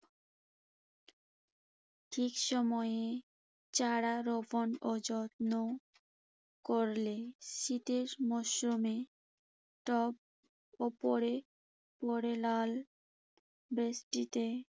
ঠিক সময়ে চারা রোপণ ও যত্ন করলে শীতের মৌসুমে টব ওপরে ওপরে লাল বেষ্টিতে